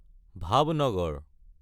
Bhavnagar